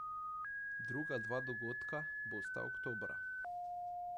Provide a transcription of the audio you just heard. Druga dva dogodka bosta oktobra.